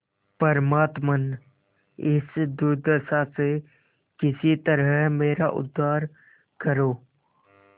परमात्मन इस दुर्दशा से किसी तरह मेरा उद्धार करो